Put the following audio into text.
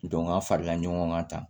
an farala ɲɔgɔn kan tan